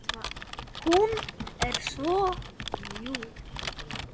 Hún er svo mjúk.